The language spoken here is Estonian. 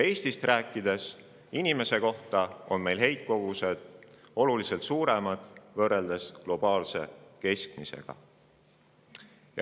Kui rääkida Eestist, siis on meil heitkogused inimese kohta oluliselt suuremad võrreldes globaalse keskmisega.